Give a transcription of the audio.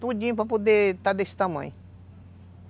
Tudinho para poder está desse tamanho.